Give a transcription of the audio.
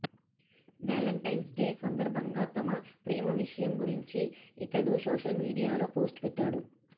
Valentine's Day సందర్భంగా తమ ప్రేమ విషయం గురించి ఇతడు సోషల్ మీడియాలో పోస్టు పెట్టాడు